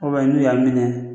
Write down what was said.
n'u y'a